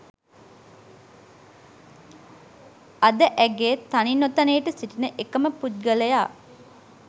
අද ඇගේ තනි නොතනියට සිටින එකම පුද්ගලයා